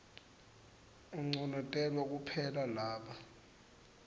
unconotelwa kuphela laba